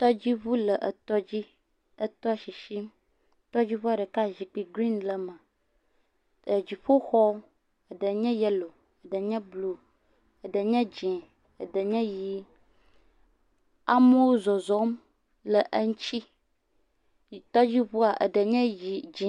Tɔdziŋu le etɔdzi, etɔ sisim, tɔdziŋua ɖeka zikpui green le eme, dziƒoxɔ eɖe nye yellow, eɖe nye blu eɖe nye dzɛ̃ eɖe nye ʋi. Amewo zɔzɔm le eŋuti, yi..Tɔdziŋua eɖe nye dzi.